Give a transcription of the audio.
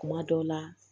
Kuma dɔw la